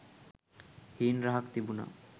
හීන් රහක් තිබුනා.